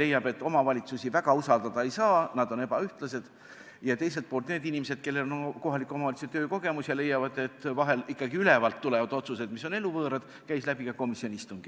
leiab, et omavalitsusi väga usaldada ei saa, nad on ebaühtlase tasemega, ja teiselt poolt on need inimesed, kellel on töökogemused kohalikus omavalitsuses ja kes leiavad, et vahel tulevad ülevalt ikkagi otsused, mis on eluvõõrad.